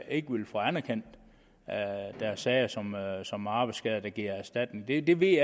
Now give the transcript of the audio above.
ikke ville få anerkendt deres sager som som arbejdsskader der giver erstatning det ved